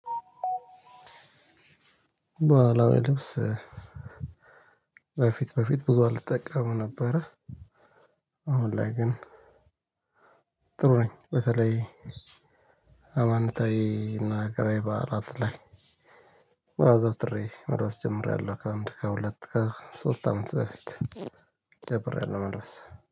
በኋላ ልብስ በፊት በፊት ብዙ አልጠቀም ነበረ አሁን ላይ ግን ጥሩ ነኝ በተለይ ሃይማኖታዊ እና ሃገራዊ በዓላት ላይ አዘውትሬ መልበስ ጀምሬያለሁ ከአንድ፣ ከሁለት ከሶስት አመት በፊት ጀምሬያለሁ መልበስ።